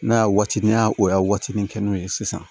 N'a y'a waati ni y'a o y'a waati min kɛ n'o ye sisan